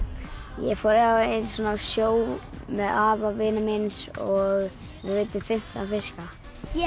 ég fór einu sinni á sjó með afa vinar míns og við veiddum fimmtán fiska ég